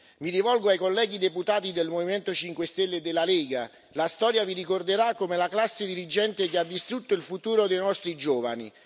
Mi rivolgo ai colleghi deputati del Movimento 5 Stelle e della Lega la storia vi ricorderà come la classe dirigente che ha distrutto il futuro dei nostri giovani.